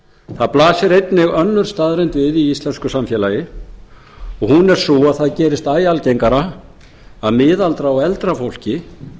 það blasir einnig önnur staðreynd við í íslensku samfélagi hún er sú að það gerist æ algengara að miðaldra og eldra fólki